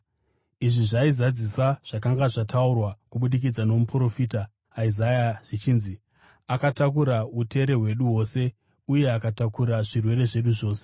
Izvi zvaizadzisa zvakanga zvataurwa kubudikidza nomuprofita Isaya zvichinzi: “Akatakura utera hwedu hwose uye akatakura zvirwere zvedu zvose.”